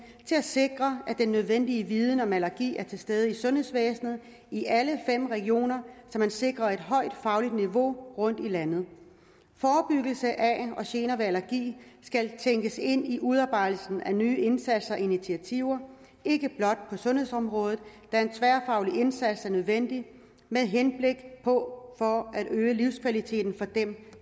til at sikre at den nødvendige viden om allergi er til stede i sundhedsvæsenet i alle fem regioner så man sikrer et højt fagligt niveau rundt i landet forebyggelse af og gener ved allergi skal tænkes ind i udarbejdelsen af nye indsatser og initiativer ikke blot på sundhedsområdet da en tværfaglig indsats er nødvendig med henblik på at øge livskvaliteten for dem